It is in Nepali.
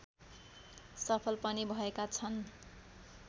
सफल पनि भएका छन्